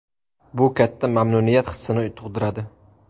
Bu katta mamnuniyat hissini tug‘diradi.